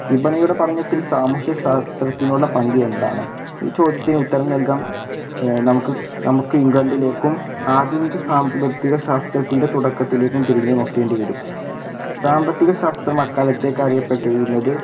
വിപണിയുടെ പഠനത്തിൽ സാമൂഹ്യശാസ്ത്രത്തിനുള്ള പങ്ക് എന്താണ് ഈ ചോദ്യത്തിന് ഉത്തരം നൽകാൻ ഏർ നമുക്ക് നമ്മക്ക് ഇംഗ്ലണ്ടിലേക്കും ആധുനിക സാമ്പത്തിക ശാസ്ത്രത്തിൻ്റെ തുടക്കത്തിലേക്കും തിരിഞ്ഞ് നോക്കേണ്ടി വരും സാമ്പത്തിക ശാസ്ത്രം അക്കാലത്തേക്ക് അറിയപ്പെട്ടിരുന്നത്